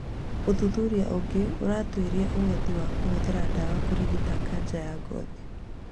Ũthuthuria ũngĩ ũratuĩria ũhoti wa kũhũthĩra dawa kũrigita kanja ya ngothi